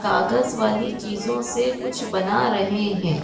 कागज़ वाली चीज़ो से कुछ बना रहें हैं।